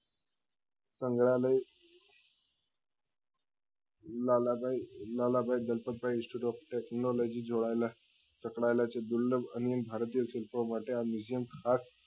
સંગ્રાલય Lalbhai Lalbhai Dalpatbhai institute of technology જેવા છાત્રાલય ઓ છે દિલ્લી અને ભારતીય માટે આ miusume ખાસ